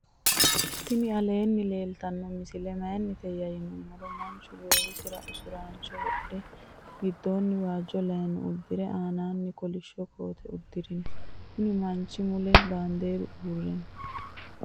tinni alenni leltano misile mayinite yinumoro manchu gowisira usurancho wodhe gidoni wajo layino udire annani kolisho koote udirino. konni manchi mule banderu uure noo.